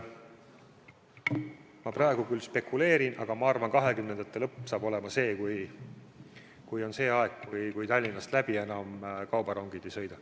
Ma praegu küll spekuleerin, aga ma arvan, et 2020. aastate lõpp on see aeg, kui kaubarongid enam Tallinnast läbi ei sõida.